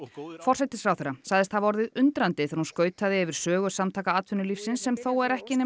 forsætisráðherra sagðist hafa orðið undrandi þegar hún skautaði yfir sögu Samtaka atvinnulífsins sem þó er ekki nema